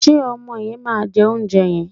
Ṣé ọmọ yẹn máa jẹ oúnjẹ yẹn?